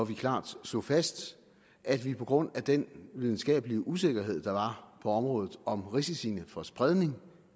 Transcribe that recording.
vi klart slog fast at vi på grund af den videnskabelige usikkerhed der på området om risiciene for spredning